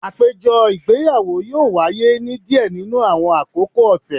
Apejọ igbeyawo yoo waye ni diẹ ninu awọn akoko ọsẹ